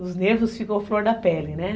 Os nervos ficam flor da pele, né?